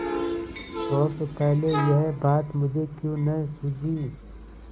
शोक पहले यह बात मुझे क्यों न सूझी